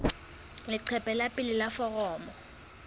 leqephe la pele la foromo